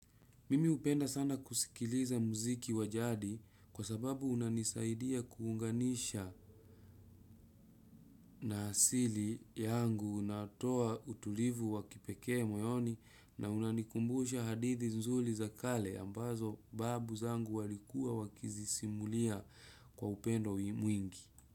Mimi hupenda sana kusikiliza muziki wajadi kwa sababu unanisaidia kuunganisha. Na asili yangu unatoa utulivu wakipekee moyoni na unanikumbusha hadithi nzuri za kale ambazo babu zangu walikua wakizisimulia kwa upendo mwingi.